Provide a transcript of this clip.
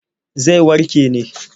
Zai warke ne.